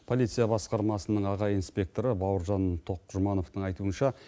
полиция басқармасының аға инспекторы бауыржан тоқжұмановтың айтуынша